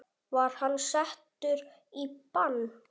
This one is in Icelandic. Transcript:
Var hann settur í bann?